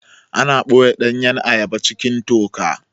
Ana ɓoye ɗanyan ayaba cikin toka